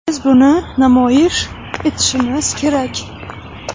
Biz buni namoyish etishimiz kerak.